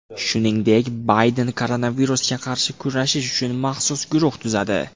Shuningdek, Bayden koronavirusga qarshi kurashish uchun maxsus guruh tuzadi.